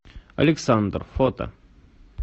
александр фото